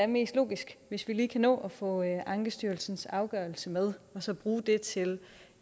mest logiske hvis vi lige kan nå at få ankestyrelsens afgørelse med og så bruge det til